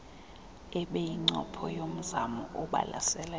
ebeyincopho yomzamo obalaseleyo